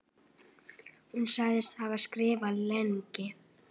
Hún segist hafa skrifað lengi.